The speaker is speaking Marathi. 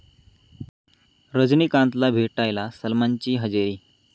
रजनीकांतला भेटायला सलमानची हजेरी